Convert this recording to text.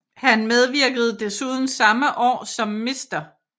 Han medvirkede desuden samme år som Mr